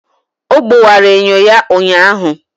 Ọ gbọwara enyo ya ụnyaahụ.